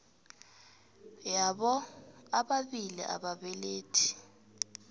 yabo bobabili ababelethi